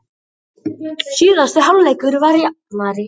Síðari hálfleikur var jafnari